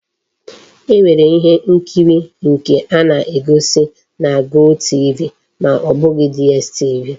E nwere ihe nkiri nke a na-egosi na GOTV ma o bu DStv.